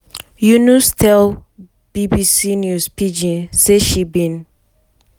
yunus tell bbc news pidgin say she bin